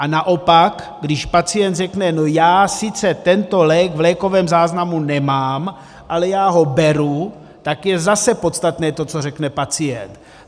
A naopak když pacient řekne no já sice tento lék v lékovém záznamu nemám, ale já ho beru, tak je zase podstatné to, co řekne pacient.